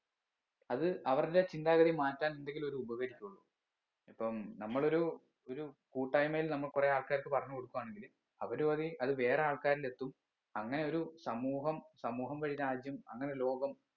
അത് അവരുടെ ചിന്താഗതി മാറ്റാൻ എന്തെങ്കിലും ഒരു ഉപകാരിക്കയുള്ളു ഇപ്പം നമ്മളൊരു ഒരു കൂട്ടായിമയിൽ നമ്മൾ കുറേ ആൾക്കാർക്ക് പറഞ്ഞ് കൊടുക്കുവാണെങ്കില് അവരു വഴി അത് വേറെ ആൾക്കാരിൽ എത്തും അങ്ങനെ ഒരു സമൂഹം സമൂഹം വഴി രാജ്യം അങ്ങനെ ലോകം